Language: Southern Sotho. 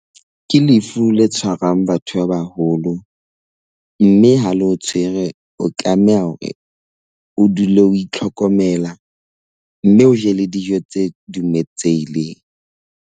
Ke lefu le tshwarang batho ba baholo mme ha le o tshwere, o tlameha hore o dule o itlhokomela, mme o je le dijo tse dumetsehileng.